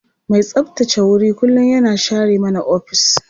Mai tsabtace wuri kullum yana share mana ofis.